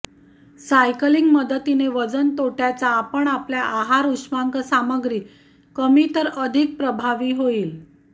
cycling मदतीने वजन तोट्याचा आपण आपल्या आहार उष्मांक सामग्री कमी तर अधिक प्रभावी होईल